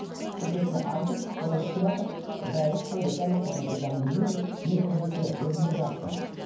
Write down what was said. шешесіне айтып солай болып келатыр бір айлық па екі айлық па оны ол жағын білмеймін мен де ол кезде өзім де жаспын